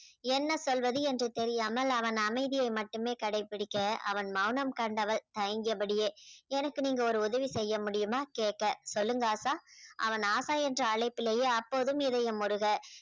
என்ன சொல்வது என்று தெரியாமல் அவன் அமைதியை மட்டுமே கடைபிடிக்க அவன் மௌனம் கண்டவள் தயங்கியபடியே எனக்கு நீங்க ஒரு உதவி செய்ய முடியுமா கேட்க சொல்லுங்க ஆஷா அவன் ஆஷா என்று அழைப்பிலேயே அப்போதும் இதயம் உருக